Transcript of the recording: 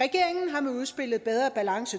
regeringen har med udspillet bedre balance